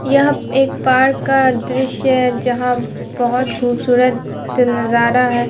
यह एक पार्क का दृश्य है जहां बहोत खूबसूरत नजारा है।